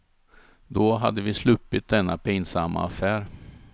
Då hade vi sluppit denna pinsamma affär.